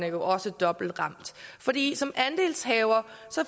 jo også dobbelt ramt fordi som andelshaver